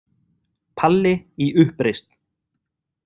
Palli í uppreisn.